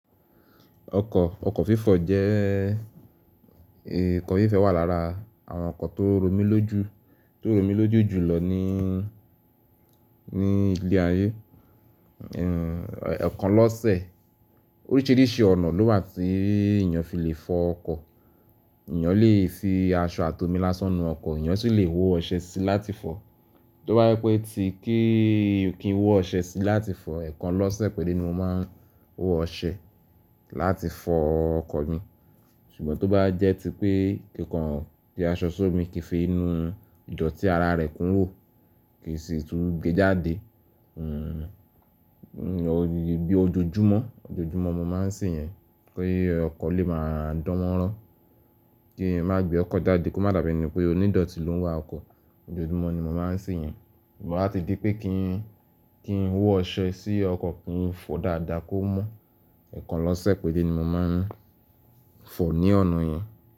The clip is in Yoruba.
Ọkọ̀, ọkọ̀ fífọ̀ jẹ́ ikọ̀ fifẹ wà lára àwọn ǹkan tó romí lójú, tó romí lójú jùlọ níí, ní ile ayé. Ehn, ẹkàn lọ́sẹ̀ oríṣiríṣi ọ̀nà ló wà tíì èèyán fi lè fọ ọkọ̀. Iyán lè fi aṣọ àto mi lásán nu ọkọ̀, iyán sì lè wo ọṣẹ sí láti fọ. Tó bá ẹ pé tí kíi, kí n wo ọṣẹ sí láti fọ, ẹ̀kan lọ́sẹ̀ péré ni mo máa ń wo ọṣẹ láti fọ ọkọ̀ mi. Ṣùgbọ́n tí ó bá jẹ́ tí pé kíkan jẹ́ aṣọ sómi kí n fi inú ìdọ̀tí ara rẹ̀ ku ro kì í sì tún gbe jáde. Hmm, bí ojojúmọ́, ojojúmọ́ mo máa ń se yẹn kí ọkọ̀ lè máa dánmọ́rán, kí n má gbe ọkọ̀ jáde kó má dàbẹ́ ni pé onídọ̀tí ló ń wa ọkọ̀. Ojoojúmọ́ ni mo máa ń se yẹn. Ṣùgbọ́n láti dí pé kí n, kí n wo ọṣẹ sí ọkọ̀ kí n fọ dáadáa kó mọ̀, ẹ̀kan lọ́sẹ̀ péré ni mo máa ń fọ ní ọ̀nà yẹn.